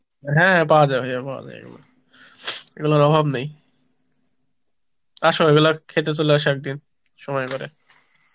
হ্যাঁ পাওয়া যায় ভাইয়া পাওয়া যায় এগুলো, এগুলোর অভাব নেই আসো এগুলো খেতে চলে আসো একদিন, সময় করে